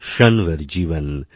ক্ষণ ভর জীবন